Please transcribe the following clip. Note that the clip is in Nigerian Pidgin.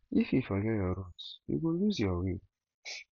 if you forget your root you go loose your way